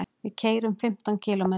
Við keyrum fimmtán kílómetra.